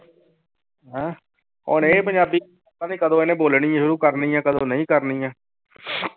ਹੈਂ ਉਹਨੇ ਪੰਜਾਬੀ ਪਤਾ ਨੀ ਕਦੋਂ ਇਹਨੇ ਬੋਲਣੀ ਸ਼ੁਰੂ ਕਰਨੀ ਹੈ ਕਦੋਂ ਨਹੀਂ ਕਰਨੀ ਹੈ